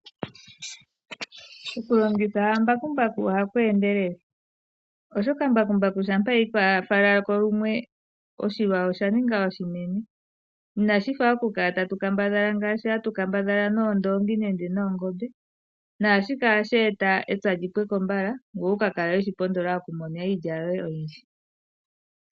Okulongitha mbakumbaku ohaku endelele oshoka mbakumbaku shampa ayiko owala lumwe oshilwa osha ninga oshinene inashifa ngaashi hatu kala atu kambadhala ngaashi hatu kala atu kambadhala noongombe nenge noondoongi naashika ohashi eta epya lyi pweko nziya ngoye wukakale we shi pondola okumona mo iilya oyindji.